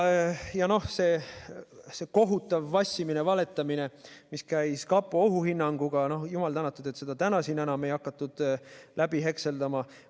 Ja see kohutav vassimine, valetamine, mis käis koos kapo ohuhinnanguga – jumal tänatud, et seda täna siin enam ei hakatud läbi hekseldama.